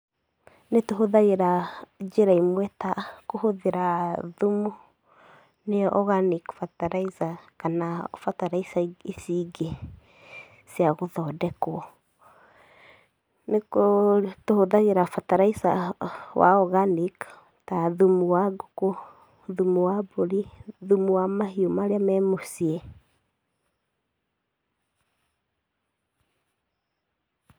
Nĩtũhũthagĩra njĩra imwe ta kũhũthĩra thumu nĩyo organic feterlizer kana bataraitha ici ingĩ cia gũthondekwo, nĩ kũũ, tũhũthagĩra bataraitha wa organic ta thumu wa ngũkũ, thumu wa mbũri, thumu wa mahiũ marĩa me mũciĩ.